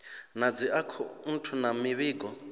na dzi akhouthu na mivhigo